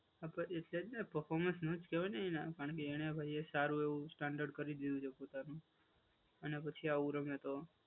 હા, પણ એ છે જ ને પર્ફોર્મન્સ નથી હવે એનામાં. કારણકે એનાં ભાઈ એ સારું એવું સ્ટેન્ડર્ડ કરી દીધું છે પોતાનું અને પછી આવું રમે તો,